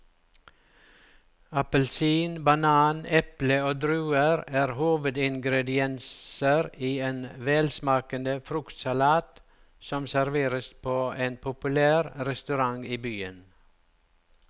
Appelsin, banan, eple og druer er hovedingredienser i en velsmakende fruktsalat som serveres på en populær restaurant i byen.